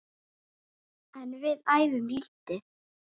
En við æfum lítið.